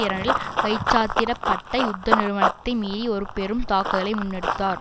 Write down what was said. இரண்டில் கைச்சாத்திட பட்ட யுத்த நிறுத்தை மீறி ஒரு பெரும் தாக்குதலை முன்னெடுத்தார்